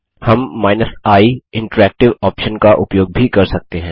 हम i option का उपयोग भी कर सकते हैं